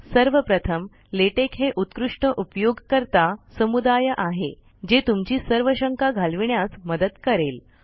सर्व प्रथम लेटेक हे उत्कृष्ट उपयोगकर्ता समुदाय आहे जे तुमची सर्व शंका घालविण्यास मदत करेल